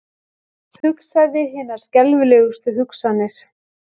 Hugsaði hinar skelfilegustu hugsanir.